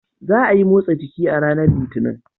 Za a yi motsa jiki a ranar Litinin.